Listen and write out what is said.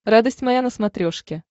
радость моя на смотрешке